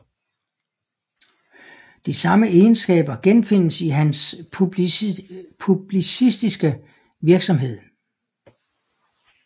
De samme Egenskaber genfindes i hans publicistiske Virksomhed